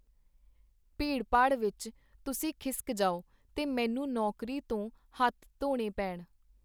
ਭੀੜ-ਭਾੜ ਵਿਚ ਤੁਸੀਂ ਖਿਸਕ ਜਾਓ, ਤੇ ਮੈਨੂੰ ਨੌਕਰੀ ਤੋਂ ਹੱਥ ਧੋਣੇ ਪੇਣ.